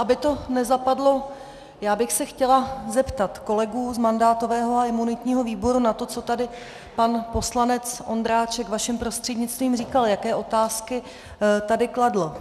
Aby to nezapadlo, já bych se chtěla zeptat kolegů z mandátového a imunitního výboru na to, co tady pan poslanec Ondráček vaším prostřednictvím říkal, jaké otázky tady kladl.